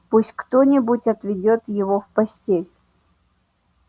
пусть кто-нибудь отведёт его в постель